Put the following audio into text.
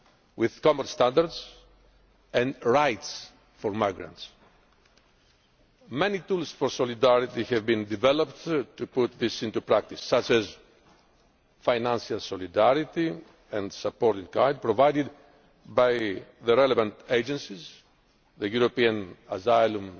with common standards and rights for migrants. Many tools for solidarity have been developed to put this into practice, such as the financial solidarity and supported guidance provided by the relevant agencies the European Asylum